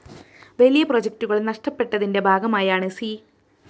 വലിയ പ്രോജക്ടുകള്‍ നഷ്ടപ്പെട്ടതിന്റെ ഭാഗമായാണ് സി